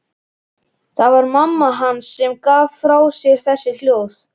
Það var mamma hans sem gaf frá sér þessi hljóð.